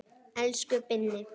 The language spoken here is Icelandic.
Elsku Binni.